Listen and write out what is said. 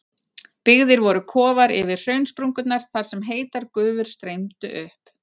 Byggðir voru kofar yfir hraunsprungurnar þar sem heitar gufur streymdu upp.